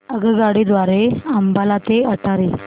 आगगाडी द्वारे अंबाला ते अटारी